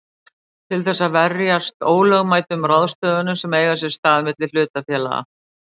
til þess að verjast ólögmætum ráðstöfunum sem eiga sér stað milli hlutafélaga.